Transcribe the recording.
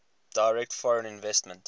direct foreign investment